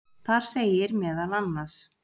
Þar segir meðal annars: